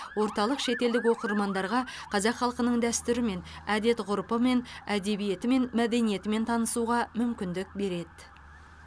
орталық шетелдік оқырмандарға қазақ халқының дәстүрімен әдет ғұрпымен әдебиеті мен мәдениетімен танысуға мүмкіндік береді